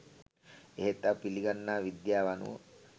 එහෙත් අප පිළිගන්නා විද්‍යාව අනුව